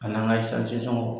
An'an ka sɔŋɔw